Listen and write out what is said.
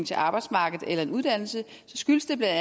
til arbejdsmarkedet eller en uddannelse skyldes det bla